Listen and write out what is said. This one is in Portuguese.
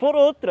Por outra.